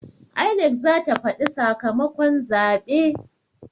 INEC zata faɗi sakamakon zaɓe